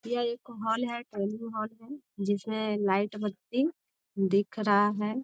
यह एक हॉल है ट्रेनिंग हॉल है जिसमें लाइट बत्ती दिख रहा है।